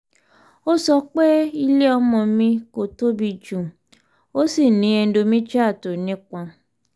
ó sọ pé ilé ọmọ mi kò tóbi jù ó sì ní endometrial tó nípọn